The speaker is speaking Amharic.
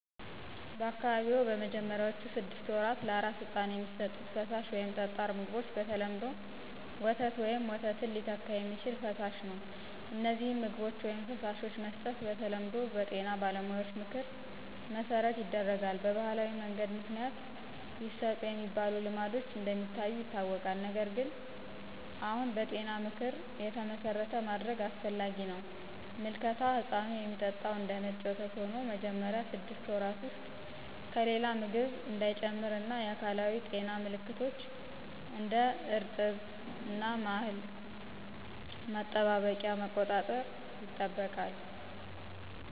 በአካባቢዎ በመጀመሪያዎቹ ስድስት ወራት ለአራስ ሕፃን የሚሰጡት ፈሳሽ ወይም ጠጣር ምግቦች በተለምዶ ወተት ወይም ወተት ሚተካ የሚችል ፈሳሽ ነው። እነዚህን ምግቦች/ፈሳሾች መስጠት በተለምዶ በጤና ባለሙያዎች ምክር መሠረት ይደረጋል። በባህላዊ መንገድ ምክንያት ይሰጡ የሚባሉ ልማዶች እንደ ሚታዩ ይታወቃል፣ ነገር ግን አሁን በጤና ምክር የተመሠረተ ማድረግ አስፈላጊ ነው። ምልከታ ሕፃኑ የሚጠጣው እንደነጭ ወተት ሆኖ መጀመሪያ ስድስት ወራት ውስጥ ከሌላ ምግብ እንዳይጨምር እና የአካላዊ ጤና ምልከቶች (እንደ እርጥብ እና ማህል ማጠባበቂያ) መቆጣጠር ይጠበቃል።